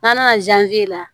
N'an nana la